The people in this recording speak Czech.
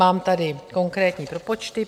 Mám tady konkrétní propočty.